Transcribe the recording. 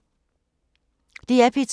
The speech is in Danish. DR P2